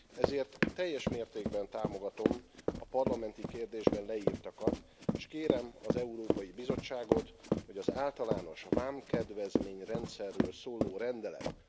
Ezért teljes mértékben támogatom a parlamenti kérdésben leírtakat, és kérem az Európai Bizottságot, hogy az általános vámkedvezményrendszerről szóló rendelet